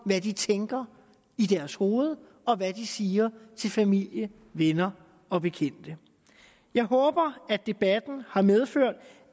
hvad de tænker i deres hoveder og hvad de siger til familie venner og bekendte jeg håber at debatten har medført